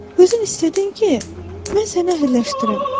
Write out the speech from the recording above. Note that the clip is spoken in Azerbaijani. Özün istədin ki, mən səni əhəlləşdirim.